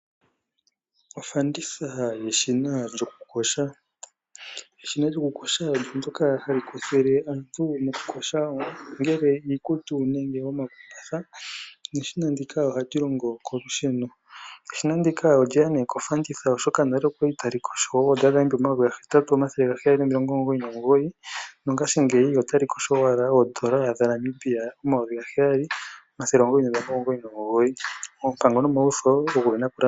Ofanditha yeshina lyokukosha. Eshina lyokukosha olyo ndyoka hali koshele aantu mokukosha ongele iikutu nenge omakumbatha, neshina ndika ohali longo kolusheno. Eshina ndika olye ya nee kofanditha oshoka nale okwali tali kosho oondola dhaNamibia 8799 nongashingeyi otali kosho owala oondola dhaNamibia 7999, oompango nomawutho ogena okulandulwa.